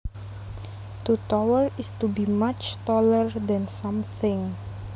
To tower is to be much taller than something